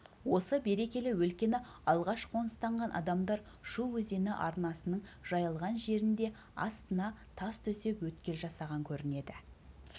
осы берекелі өлкені алғаш қоныстанған адамдар шу өзені арнасының жайылған жерінде астына тас төсеп өткел жасаған көрінеді